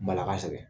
Bala ka sɛgɛn